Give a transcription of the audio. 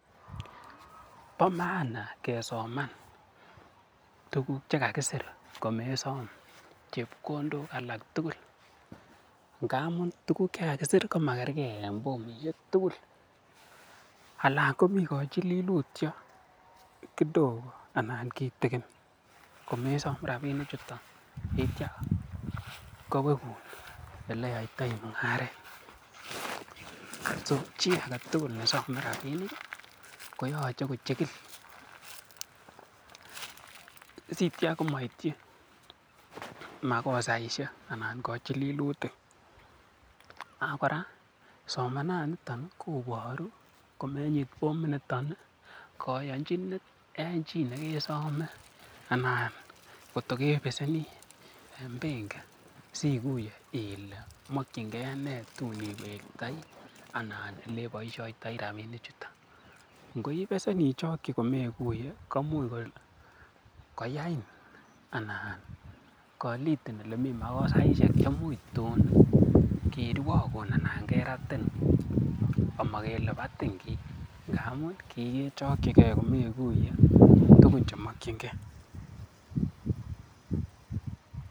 Bo maana kesoman tuguk che kagisir komesom chepkondok alak tugul ngamun tuguk che kagisir komakerge en formishek tugul. Anan komi kochililutyo kidogo anan kitikin komesom rabinichuto kityo kowegun ole iyotoi mung'aret. So chi age tugul nesome rabinik koyoche kochigil sityo komoityi makosaishek anan kochililutik. Ak kora somananiton koboru komenyit forminito koyonjinet en chi nekesome anan kotokebeseni en benkit sikuye ile mokinge nee tun kewektoi anan ele boisiotoi rabishek chuto. Ngot ibesen ichoki komeguye koimuch koyain anan kolitin ole mi makosaishek che much tun kirwogun anan keratin ama kele batin kiy ngamun kiichoki gen komeguye tuguk che mokinge.